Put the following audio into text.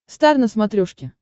стар на смотрешке